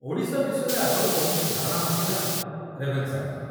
ଓଡ଼ିଶା ବିଷୟରେ ଆଗରୁ କୌଣସି ଧାରଣା ନଥିଲା ରେଭେନ୍ସାଙ୍କର ।